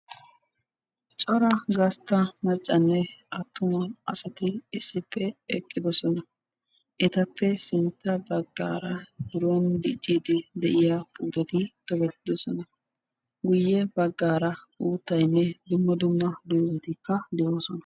corra gastta assati issippe eqidossona ettape sintta bagara birroni diciyaa puuteti beettosona guyessarakka uuttayi beettesi.